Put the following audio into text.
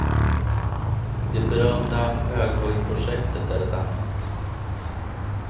Det berömda höghöjdsprojektet är ett annat.